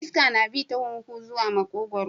Iska na kai huhu ta makogwaro.